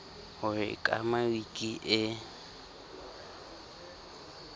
ho e kama wiki e